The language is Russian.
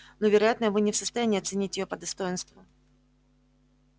но вероятно вы не в состоянии оценить её по достоинству